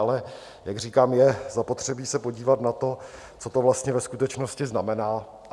Ale jak říkám, je zapotřebí se podívat na to, co to vlastně ve skutečnosti znamená.